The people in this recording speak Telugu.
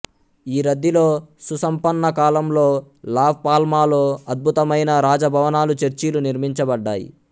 ఈ రద్దీలో సుసంపన్న కాలంలో లా పాల్మాలో అద్భుతమైన రాజభవనాలు చర్చిలు నిర్మించబడ్డాయి